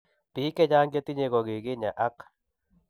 Biik chechang chetinye ko kiginyaa ak